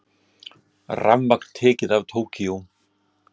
Rafmagn tekið af Tókýó